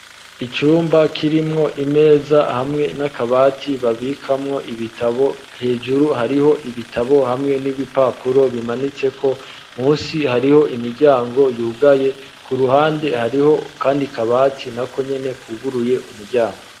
Icumba kirimwo imeza hamwe n'akabati babikamwo ibitabo hejuru hariho ibitabo hamwe n'ibipapuro bimanitse ko munsi hariho imiryango yugaye ku ruhande hariho kandi kabati nako nyene kuguruye umuryango.